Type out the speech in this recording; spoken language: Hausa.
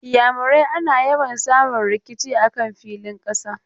A wasu yankunan Iyamurai ana yawa samun rikici a kan filin ƙasa.